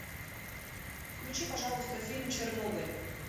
включи пожалуйста фильм чернобыль